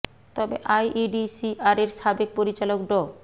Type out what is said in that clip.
তবে I E D C আরের সাবেক পরিচালক ড